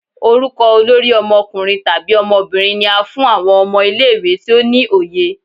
Orukọ olori ọmọkunrin tabi ọmọbirin ni á fún awọn ọmọ ile-iwe ti o ni oye.